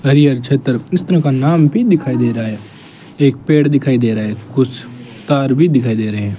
हरिहर छतर का नाम भी दिखाई दे रहा है एक पेड़ दिखाई दे रहा है कुछ तार भी दिखाई दे रहे हैं।